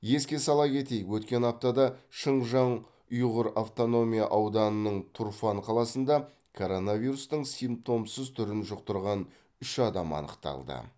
еске сала кетейік өткен аптада шыңжан ұйғыр автономия ауданының турфан қаласында коронавирустың симптомсыз түрін жұқтырған үш адам анықталды